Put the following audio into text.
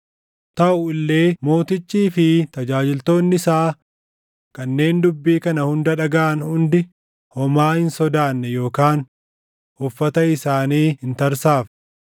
Taʼu illee mootichii fi tajaajiltoonni isaa kanneen dubbii kana hunda dhagaʼan hundi homaa hin sodaanne yookaan uffata isaanii hin tarsaafne.